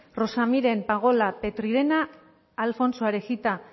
rosa miren pagola petrirena alfonso arejita